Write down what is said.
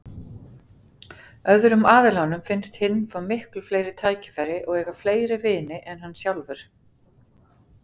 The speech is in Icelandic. Öðrum aðilanum finnst hinn fá miklu fleiri tækifæri og eiga fleiri vini en hann sjálfur.